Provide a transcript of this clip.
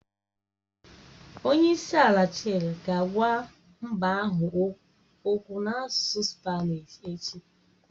Onye isi ala Chile ga-agwa mba ahụ okwu n'asụsụ Spanishi echi.